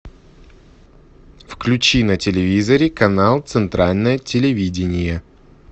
включи на телевизоре канал центральное телевидение